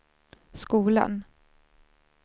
skolan